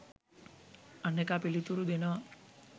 අනෙකා පිළිතුරු දෙනවා..